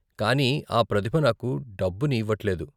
కానీ ఆ ప్రతిభ నాకు డబ్బుని ఇవ్వట్లేదు.